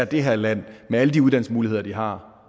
det her land med alle de uddannelsesmuligheder de har